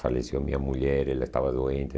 Faleceu minha mulher, ela estava doente.